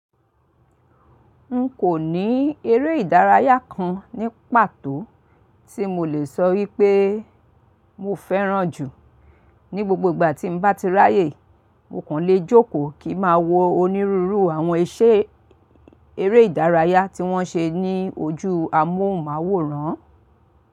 N kò ní eré ìdárayá kan ní pàtó tí mo lè sọ wípé mo fẹ́ràn jù. Ni gbogbo ìgbà tí n bá ti ráyè, mo kàn le jókòó kí ma wọ onírúurú àwọn iṣẹ́ eré ìdárayá tí wọ́n ṣe ní ojú amóhùnmáwòrán.